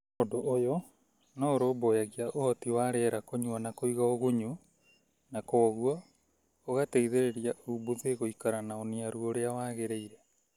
Undũ ũyũ no ũrũmbũyagia ũhoti wa rĩera kũnywa na kũiga ũgunyu na kwoguo ũgateithĩrĩria umbuthĩ gũikara na ũniaru ũrĩa wagĩrĩire.